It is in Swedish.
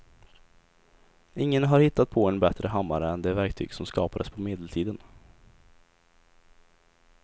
Ingen har hittat på en bättre hammare än det verktyg som skapades på medeltiden.